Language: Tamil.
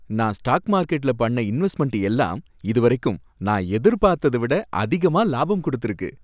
நான் ஸ்டாக் மார்கெட்ல பண்ண இன்வெஸ்ட்மென்ட் எல்லாம் இதுவரைக்கும் நான் எதிர்பார்த்தத விட அதிகமா லாபம் குடுத்துருக்கு